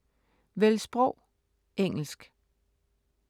Vælg sprog: engelsk